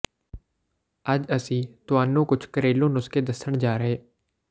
ਅੱਜ ਅਸੀਂ ਤੁਹਾਨੂੰ ਕੁੱਝ ਘਰੇਲੂ ਨੁਸਖ਼ੇ ਦੱਸਣ ਜਾ ਰਹੇ